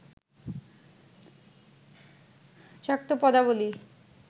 শাক্ত পদাবলী